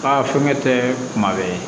Aa fɔ ne tɛ kuma bɛɛ